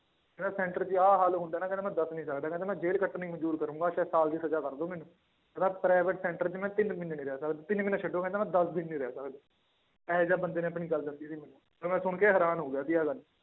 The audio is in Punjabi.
ਕਹਿੰਦਾ center 'ਚ ਆਹ ਹਾਲ ਹੁੰਦਾ ਹੈ ਨਾ ਕਹਿੰਦਾ ਮੈਂ ਦੱਸ ਨੀ ਸਕਦਾ, ਕਹਿੰਦਾ ਮੈਂ ਜੇਲ੍ਹ ਕੱਟਣੀ ਮੰਨਜ਼ੂਰ ਕਰਾਂਗਾ ਚਾਹੇ ਸਾਲ ਦੀ ਸਜ਼ਾ ਕਰ ਦਓ ਮੈਨੂੰ ਕਹਿੰਦਾ private center 'ਚ ਮੈਂ ਤਿੰਨ ਮਹੀਨੇ ਨੀ ਰਹਿ ਸਕਦਾ, ਤਿੰਨ ਮਹੀਨੇ ਛੱਡੋ ਕਹਿੰਦਾ ਮੈਂ ਦਸ ਦਿਨ ਨੀ ਰਹਿ ਸਕਦਾ ਇਹ ਜਿਹਾ ਬੰਦੇ ਨੇ ਆਪਣੀ ਗੱਲ ਦੱਸੀ ਸੀ ਮੈਨੂੰ, ਔਰ ਮੈਂ ਸੁਣਕੇ ਹੈਰਾਨ ਹੋ ਗਿਆ ਸੀ ਆਹ ਗੱਲ।